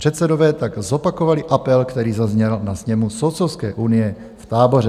Předsedové tak zopakovali apel, který zazněl na sněmu Soudcovské unie v Táboře.